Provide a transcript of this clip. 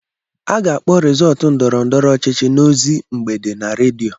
A ga-akpọ rizọtụ ndọrọ ndọrọ ọchịchị n'ozi mgbede na rediyo.